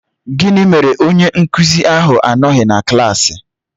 Gịnị mere onye nkụzi ahụ anọghị na klaasị?